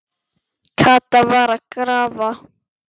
Kata var að grafa.